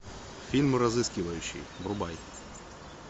фильм разыскивающий врубай